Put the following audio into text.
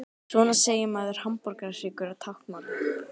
Svona segir maður hamborgarhryggur á táknmáli.